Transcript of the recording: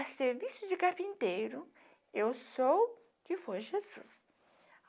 A serviço de carpinteiro, eu sou que foi Jesus.